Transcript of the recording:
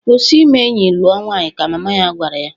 "Kwụsi ime enyị lụọ nwanyị!" ka mama ya gwara ya.